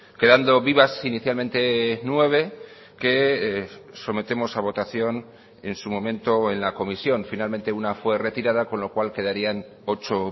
quedando vivas inicialmente nueve que sometemos a votación en su momento en la comisión finalmente una fue retirada con lo cual quedarían ocho